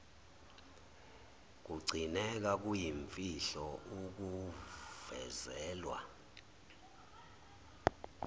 kugcineka kuyimfihlo akuvezelwa